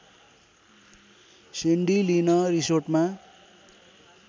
Sandy Lynn रिसोर्टमा